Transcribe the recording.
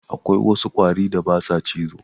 Akwai wasu ƙwari da ba sa cizo.